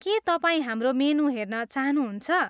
के तपाईँ हाम्रो मेनु हेर्न चाहनुहुन्छ?